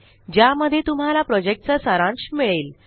ज्यामध्ये तुम्हाला प्रॉजेक्टचा सारांश मिळेल